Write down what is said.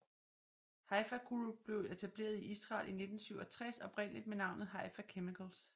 Haifa Group blev etableret i Israel i 1967 oprindeligt med navnet Haifa Chemicals Ltd